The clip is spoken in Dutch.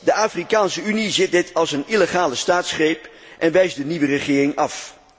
De Afrikaanse Unie ziet dit als een illegale staatsgreep en wijst de nieuwe regering af.